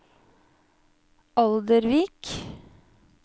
Oldervik